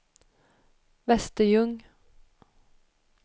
Västerljung